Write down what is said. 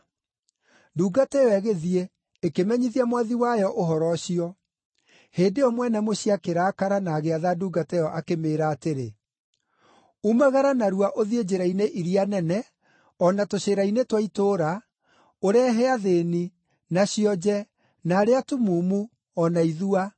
“Ndungata ĩyo ĩgĩthiĩ, ĩkĩmenyithia mwathi wayo ũhoro ũcio. Hĩndĩ ĩyo mwene mũciĩ akĩrakara na agĩatha ndungata ĩyo akĩmĩĩra atĩrĩ, ‘Umagara narua ũthiĩ njĩra-inĩ iria nene, o na tũcĩra-inĩ twa itũũra, ũrehe athĩĩni, na cionje, na arĩa atumumu, o na ithua.’